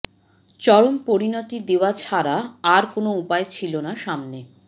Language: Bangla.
চরম পরিণতি দেওয়া ছাড়া আর কোনও উপায় ছিল না সামনে